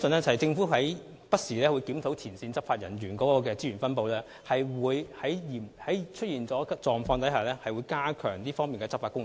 政府會不時檢討前線執法人員的資源分布，並會在出現嚴重問題時，加強這方面的執法工作。